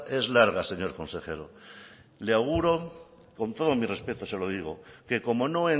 es larga señor consejero le auguro con todos mis respetos se lo digo que como no